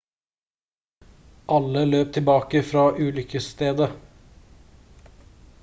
alle løp tilbake fra ulykkesstedet